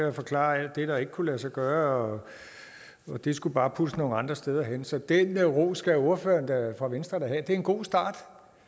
at forklare alt det der ikke kunne lade sig gøre og det skulle bare puttes nogle andre steder hen så den ros skal ordføreren for venstre da have det er en god start